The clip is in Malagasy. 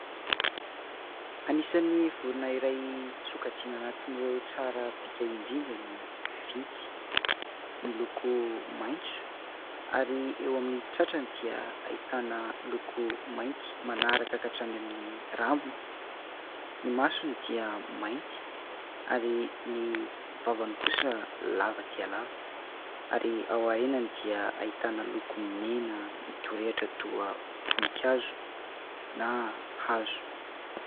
Anisan'ny vorona iray sokajiana anatin'ireo tsara bika indrindra ny vintsy. Miloko maitso ary eo amin'ny tratrany dia ahitana loko mainty manaraka ka hatrany amin'ny rambony. Ny masony dia mainty ary ny vavany kosa dia lava dia lava ary ao aorianany dia ahitana loko mena midorehitra toa voninkazo na hazo.